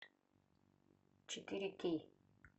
четыре кей